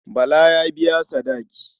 Bala ya biya sadaki.